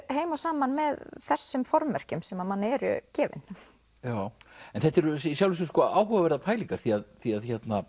heim og saman með þessum formerkjum sem að manni eru gefin en þetta eru í sjálfu sér áhugaverðar pælingar því að því að